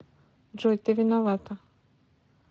джой ты виновата